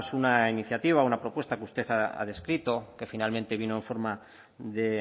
pues una iniciativa una propuesta que usted ha descrito que finalmente vino en forma de